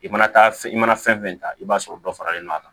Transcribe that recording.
I mana taa fɛn i mana fɛn fɛn ta i b'a sɔrɔ dɔ faralen don a kan